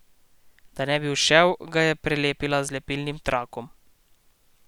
Da ne bi ušel, ga je prelepila z lepilnim trakom.